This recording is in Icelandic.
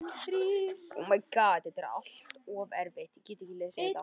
Frú Pettersson bauð systrunum inn í stóra stofu og þær gripu næstum andann á lofti.